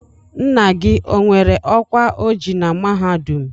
Nna gị o nwere ọkwa o ji na mahadum?